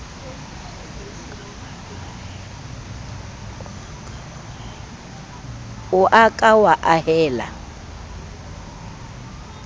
o a ka wa ahela